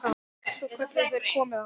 Svo kölluðu þeir: Komiði aðeins!